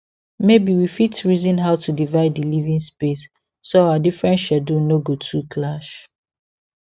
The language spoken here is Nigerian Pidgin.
maybe we fit reason how to divide di living space so our different schedules no go too clash